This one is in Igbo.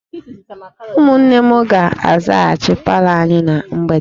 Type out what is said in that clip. Ụmụnne m ga-azachasị palọ anyị na mgbede